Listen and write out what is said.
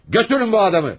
Götürün bu adamı.